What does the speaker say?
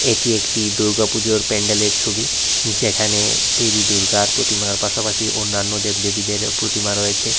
এটি একটি দূর্গা পূজার প্যান্ডেলের ছবি যেখানে দেবী দুর্গার প্রতিমার পাশাপাশি অন্যান্য দেব দেবীদেরও প্রতিমা রয়েছে।